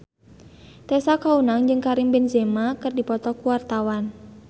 Tessa Kaunang jeung Karim Benzema keur dipoto ku wartawan